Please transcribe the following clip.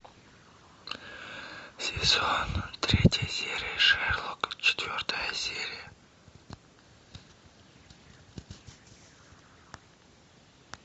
сезон третья серия шерлок четвертая серия